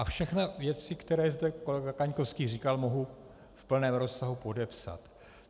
A všechny věci, které zde kolega Kaňkovský říkal, mohu v plném rozsahu podepsat.